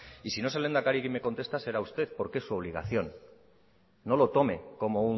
y si no es el lehendakari quien me conteste será usted porque es su obligación no lo tome como